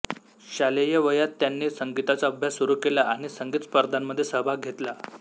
शालेय वयात त्यांनी संगीताचा अभ्यास सुरू केला आणि संगीत स्पर्धांमध्ये सहभाग घेतला